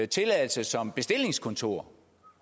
tilladelse som bestillingskontor